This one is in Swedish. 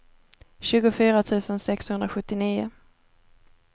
tjugofyra tusen sexhundrasjuttionio